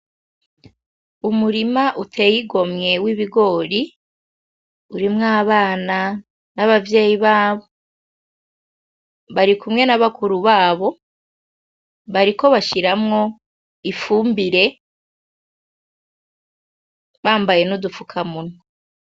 Umurima utey'igomwe w'ibigori , urimw'abana , n'abavyeyi babo barikumwe n'abakuru babo bariko bashiramwo ifumbire bambaye n'udufuka munwa .